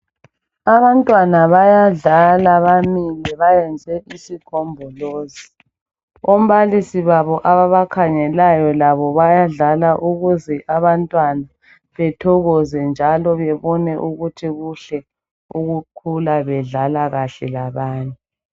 Abantwana bayadlala bamile bayenze isigombolozi. Ombalisi babo ababakhangelayo labo bayadlala ukuze abantwana bethokoze njalo babone ukuthi kuhle ukukhula bedlala kahle labanye.